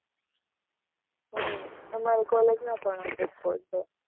હમ અમાર collage માં પણ હતો sports day.